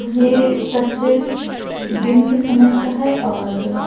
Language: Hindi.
ये तस्वीर दिन के समय का है और--